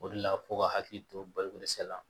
O de la f'u ka hakili to baloko dɛsɛ la